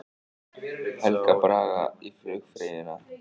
Helga Braga í flugfreyjuna